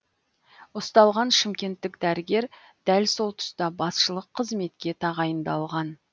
ұсталған шымкенттік дәрігер дәл сол тұста басшылық қызметке тағайындалған